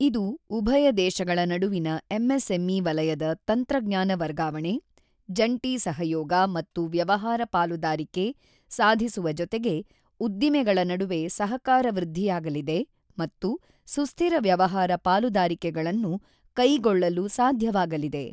ಇದು ಉಭಯ ದೇಶಗಳ ನಡುವಿನ ಎಂಎಸ್ಎಂಇ ವಲಯದಲ್ಲಿ ತಂತ್ರಜ್ಞಾನ ವರ್ಗಾವಣೆ, ಜಂಟಿ ಸಹಯೋಗ ಮತ್ತು ವ್ಯವಹಾರ ಪಾಲುದಾರಿಕೆ ಸಾಧಿಸುವ ಜೊತೆಗೆ ಉದ್ದಿಮೆಗಳ ನಡುವೆ ಸಹಕಾರ ವೃದ್ಧಿಯಾಗಲಿದೆ ಮತ್ತು ಸುಸ್ಥಿರ ವ್ಯವಹಾರ ಪಾಲುದಾರಿಕೆಗಳನ್ನು ಕೈಗೊಳ್ಳಲು ಸಾಧ್ಯವಾಗಲಿದೆ.